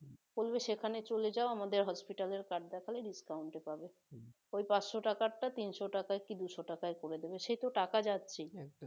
বলবে সেখানে চলে যাও আমাদের hospital এর card দেখালে discount এ পাবে ওই পাঁচশো টাকার টা তিনশো টাকা কি দুইশো টাকায় করে দিবে সেই তো টাকা যাচ্ছে